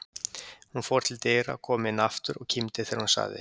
Hún fór til dyra, kom inn aftur og kímdi þegar hún sagði